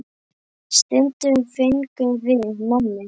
Stundum fengum við nammi.